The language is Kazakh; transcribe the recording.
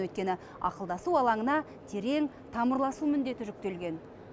өйткені ақылдасу алаңына терең тамырласу міндеті жүктелген